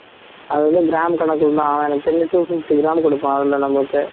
அது வந்து gram கணக்குலதான் அவன் எனக்குத் தெரிஞ்சு two fifty gram கொடுப்பான் அதுல நமக்கு